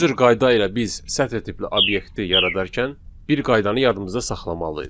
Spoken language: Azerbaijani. Bu cür qayda ilə biz sətr tipli obyekti yaradarkən bir qaydanı yadımızda saxlamalıyıq.